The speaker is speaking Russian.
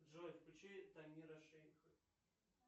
джой включи тамира шейха